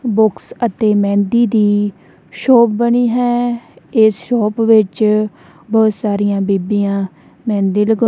books ਅਤੇ ਮਹਿੰਦੀ ਦੀ shop ਬਣੀ ਹੈ ਇਸ ਸ਼ੋਪ ਵਿੱਚ ਬਹੁਤ ਸਾਰੀਆਂ ਬੀਬੀਆਂ ਮਹਿੰਦੀ ਲਗਉਣ--